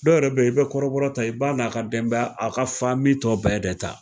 Dɔw yɛrɛ be yen, i bɛ kɔrɔbɔrɔ ta, i b'a na ka denbaya a ka tɔ bɛ de ta.